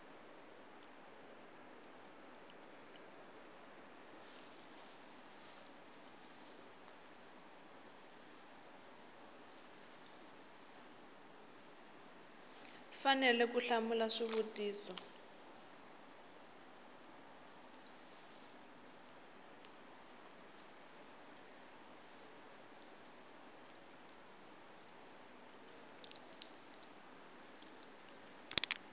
fanele ku hlamula xivutiso xin